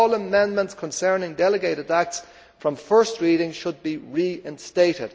All amendments concerning delegated acts from first reading should be reinstated.